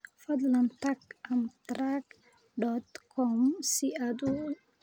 fadlan tag amtrak dot com si aad u iibsato tigidhada